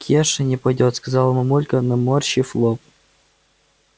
кеша не пойдёт сказала мамулька наморщив лоб